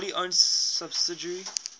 wholly owned subsidiary